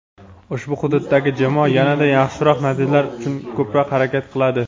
ushbu hududdagi jamoa yanada yaxshiroq natijalar uchun ko‘proq harakat qiladi.